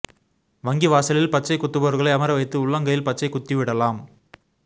வங்கி வாசலில் பச்சை குத்துபவர்களை அமரவைத்து உள்ளங்கையில் பச்சை குத்தி விடலாம்